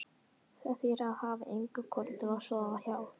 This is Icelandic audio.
Það þýðir að hafa enga konu til að sofa hjá.